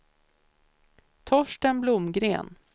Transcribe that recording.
Torsten Blomgren